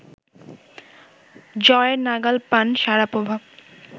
জয়ের নাগাল পান শারাপোভা